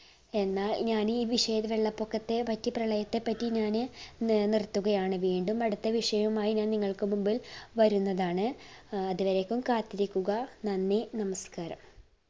എന്നാ ഞാൻ ഈ വിഷയ വെള്ളപ്പൊക്കത്തെപ്പറ്റി പ്രളയത്തെ പറ്റി ഞാന് നി നിർത്തുകയാണ്. വീണ്ടും അടുത്ത വിഷയവുമായി ഞാൻ നിങ്ങൾക്ക് മുമ്പിൽ വരുന്നതാണ് ഏർ അതുവരെയ്ക്കും കാത്തിരിക്കുക നന്ദി നമസ്കാരം